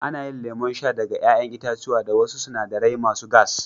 Ana yin lemon sha daga 'ya'yan itatuwa da wasu sinadarai masu gas.